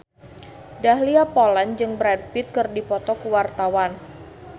Dahlia Poland jeung Brad Pitt keur dipoto ku wartawan